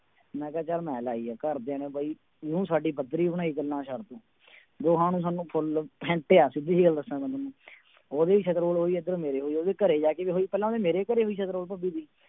ਮੈਂ ਕਿਹਾ ਚੱਲ ਮੈਂ ਲਾਈ ਹੈ ਘਰਦਿਆਂ ਨੇ ਬਾਈ ਇਉਂ ਸਾਡੀ ਬੱਦਰੀ ਬਣਾਈ ਗੱਲਾਂ ਛੱਡ ਤੂੰ, ਦੋਹਾਂ ਨੂੰ ਸਾਨੂੰ full ਫੈਂਟਿਆ ਸਿੱਧੀ ਜਿਹੀ ਗੱਲ ਦੱਸਾਂ ਤੁਹਾਨੂੰ ਉਹਦੀ ਵੀ ਸਿਤਰੋਲ ਹੋਈ ਇੱਧਰੋਂ ਮੇਰੇ ਹੋਈ ਉਹਦੀ ਘਰੇ ਜਾ ਕੇ ਵੀ ਹੋਈ, ਪਹਿਲੇ ਉਹਦੇ ਮੇਰੇ ਘਰੇ ਹੋਈ ਸਿਤਰੋਲ ਭੱਬੀ ਦੀ,